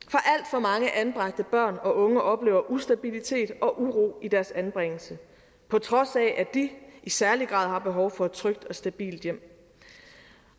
for mange anbragte børn og unge oplever ustabilitet og uro i deres anbringelse på trods af at de i særlig grad har behov for et trygt og stabilt hjem